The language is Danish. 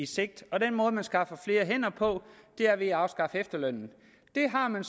sigt og den måde man skaffer flere hænder på er ved at afskaffe efterlønnen det har man